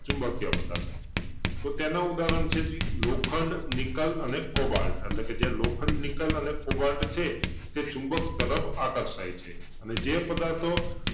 ચુંબકિય પદાર્થો તો તેના ઉદાહરણ છે જી લોખંડ, નિકલ અને કોબાલ્ટ એટલે કે જે લોખંડ, નિકલ અને કોબાલ્ટ છે તે ચુંબક તરફ આકર્ષાય છે ને જે પદાર્થો